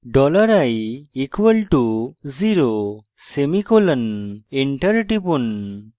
dollar i = zero semicolon enter টিপুন